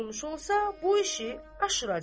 Hər yolla olmuş olsa, bu işi aşıracaq.